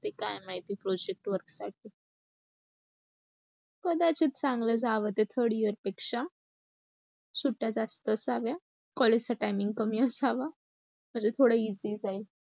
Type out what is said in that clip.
ते काय माहिती project work साठी. कदाचित ते चांगलं जाव third year पेक्षा. सुट्ट्या जास्त असाव्या. collage चा timing कमी असावा, म्हणजे थोड easy जाईल.